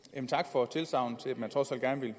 for